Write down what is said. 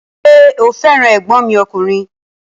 Ṣé o fẹ́ràn ẹ̀gbọ́n mi ọkùnrin?